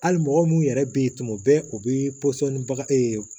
Hali mɔgɔ minnu yɛrɛ bɛ ye tuma bɛ u bɛ pɔsɔni